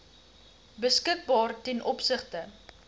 beskikbaar ten opsigte